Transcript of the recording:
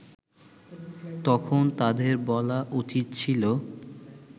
তখন তাদের বলা উচিত ছিল